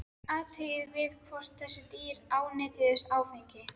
Athugað var hvort þessi dýr ánetjuðust áfengi.